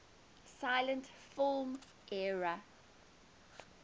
silent film era